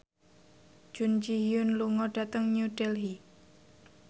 Jun Ji Hyun lunga dhateng New Delhi